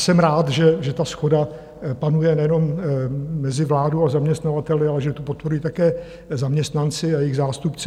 Jsem rád, že ta shoda panuje nejenom mezi vládou a zaměstnavateli, ale že to podporují také zaměstnanci a jejich zástupci.